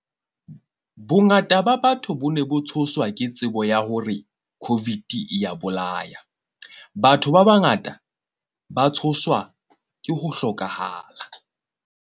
Bongata ba batho bo ne bo tshoswa ke tsebo ya hore COVID-i e ya bolaya. Batho ba bangata ba tshoswa ke ho hlokahala.